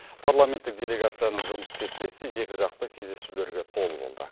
парламенттік делегацияның жұмыс кестесі екіжақты кездесулерге толы болды